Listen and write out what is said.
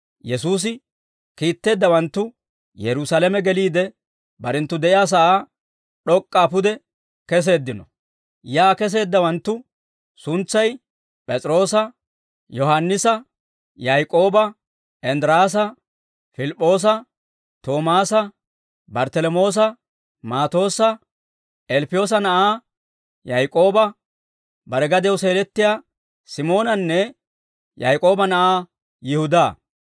Yesuusi kiitteeddawanttu Yerusaalame geliide, barenttu de'iyaa sa'aa d'ok'k'aa pude keseeddino; yaa keseeddawanttu suntsay P'es'iroosa, Yohaannisa, Yaak'ooba, Inddiraasa, Pilip'p'oosa, Toomaasa, Barttalamoosa, Maatoossa, Ilppiyoosa na'aa Yaak'ooba, bare gadiyaw seelettiyaa Simoonanne Yaak'ooba na'aa Yihudaa.